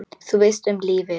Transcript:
Þú veist, um lífið?